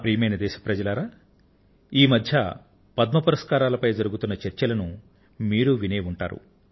ప్రియమైన నా దేశ వాసులారా ఈమధ్య పద్మ పురస్కారాలపై జరుగుతున్న చర్చలను మీరూ వినే ఉంటారు